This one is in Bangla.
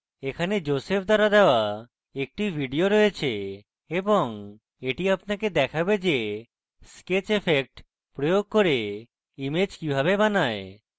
এখানে joseph দ্বারা দেওয়া একটি video রয়েছে এবং এটি আপনাকে দেখাবে যে sketch effects প্রয়োগ করে image কিভাবে বানায়